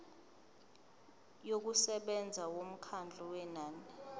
yokusebenza yomkhawulo wenani